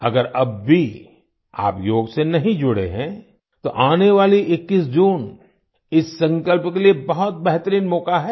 अगर अब भी आप योग से नहीं जुड़े हैं तो आने वाली 21 जून इस संकल्प के लिए बहुत बेहतरीन मौका है